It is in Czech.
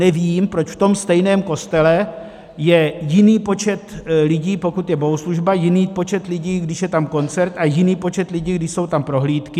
Nevím, proč v tom stejném kostele je jiný počet lidí, pokud je bohoslužba, jiný počet lidí, když je tam koncert, a jiný počet lidí, když jsou tam prohlídky.